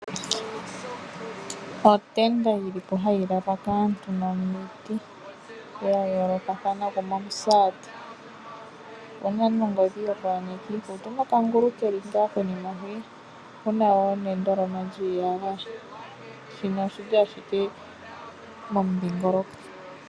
Otenda yili po hayi lalwa kaantu nomiti dha yoolokathana gumwe omusaati opuna nongodhi ,nokangulu keli ngaa konima hwii opuna wo nendoloma lyiiyagaya shino oshili ashike komudhingoloko.